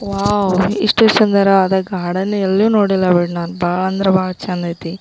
Wow ಇಷ್ಟು ಸುಂದರವಾದ garden ಎಲ್ಲು ನೋಡಿಲ್ಲ ನೋಡ್ ಬಹಳ ಅಂದ್ರೆ ಬಹಳ ಚಂದ ಐತಿ.